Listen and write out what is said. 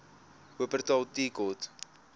wupperthal tea court